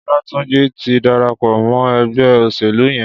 Olatunji ti dàrápọ̀ mọ ẹgbẹ óṣélú yèn